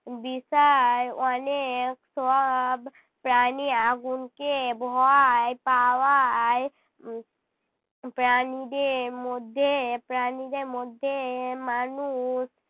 বিষয় অনেক সব প্রাণী আগুনকে ভয় পাওয়ায় উহ প্রাণীদের মধ্যে প্রাণীদের মধ্যে মানুষ